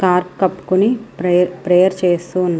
కప్పుకొని prayer prayer చేస్తు--